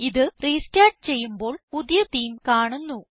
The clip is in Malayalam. ഇത് റെസ്റ്റാർട്ട് ചെയ്യുമ്പോൾ പുതിയ തേമെ കാണുന്നു